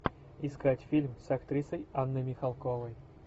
искать фильм с актрисой анной михалковой